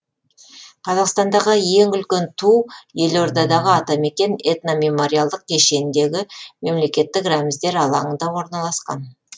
қазақстандағы ең үлкен ту елордадағы атамекен этномемориалдық кешеніндегі мемлекеттік рәміздер алаңында орналасқан